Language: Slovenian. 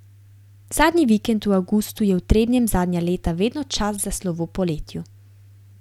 Zadnji vikend v avgustu je v Trebnjem zadnja leta vedno čas za Slovo poletju.